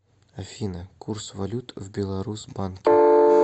афина курс валют в беларус банке